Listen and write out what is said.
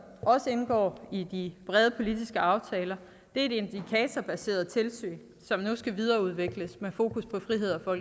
også indgår i de brede politiske aftaler er et indikatorbaseret tilsyn som nu skal videreudvikles med fokus på frihed og